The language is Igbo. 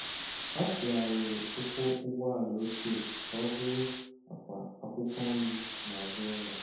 Ha tụgharịrị ụkwụ ụgbọala ochie ka ọ bụrụ àkwà akwụkwọ nri n'azụ ụlọ.